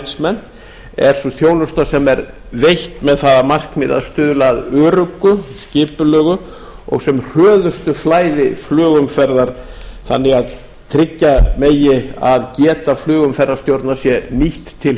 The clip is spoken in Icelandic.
management er sú þjónusta sem er veitt með það að markmiði að stuðla að öruggu skipulegu og sem hröðustu flæði flugumferðar þannig að tryggja megi að geta flugumferðarstjórnar sé nýtt til